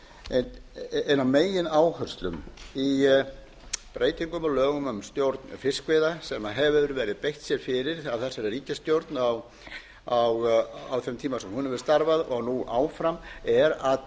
ein af megináherslum í breytingum á lögum um stjórn fiskveiða sem hefur verið beitt fyrir af þessari ríkisstjórn á þeim tíma sem hún hefur starfað og nú áfram er að